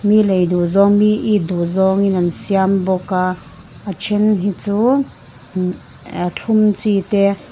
mi lei duh zawng mi it duh zawng in an siam bawk a a then hi chu mm ah a thlum chi te--